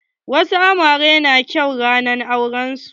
Wasu amaren na kyau ranar auren su.